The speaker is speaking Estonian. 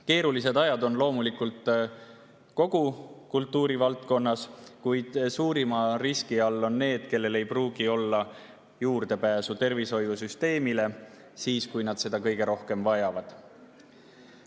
Keerulised ajad on loomulikult kogu kultuurivaldkonnas, kuid suurima riski all on need, kellel ei pruugi olla juurdepääsu tervishoiusüsteemile, kui nad seda kõige rohkem vajavad.